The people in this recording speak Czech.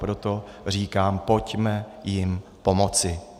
Proto říkám, pojďme jim pomoci.